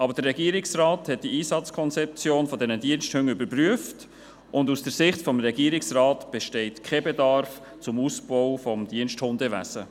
Aber der Regierungsrat hat die Einsatzkonzeption dieser Diensthunde überprüft, und aus der Sicht des Regierungsrates besteht kein Bedarf nach einem Ausbau des Diensthundewesens.